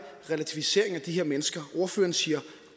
relativisering af de her mennesker ordføreren siger